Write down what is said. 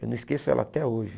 Eu não esqueço ela até hoje.